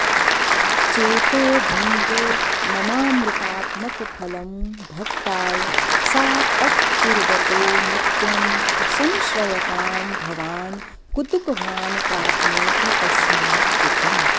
चेतोभृङ्ग ममामृतात्मकफलं भक्ताय सा त्कुर्वतो नित्यं संश्रयतां भवान् कुतुकवान् प्राप्नोति तस्मात्सुखम्